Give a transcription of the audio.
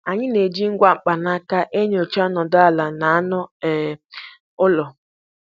Anyị ná-eji ngwa mkpanaka enyocha ọnọdụ ala na anụ um ụlọ.